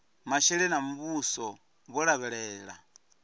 masheleni a muvhuso vho lavhelela